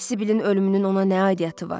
Sibilin ölümünün ona nə aidiyyatı var?